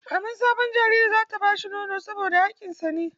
Maman sabon jariri za ta ba shi nono saboda hakkin sa ne.